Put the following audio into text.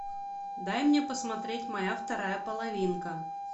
дай мне посмотреть моя вторая половинка